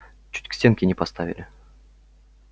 чуть к стенке не поставили